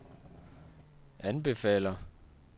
anbefaler